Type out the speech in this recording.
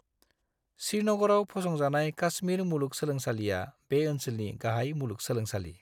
श्रीनगरआव फसंजानाय काश्मीर मुलुग सोलोंसालिआ बे ओनसोलनि गाहाय मुलुग सोलोंसालि।